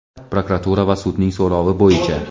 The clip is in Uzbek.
prokuratura va sudning so‘rovi bo‘yicha;.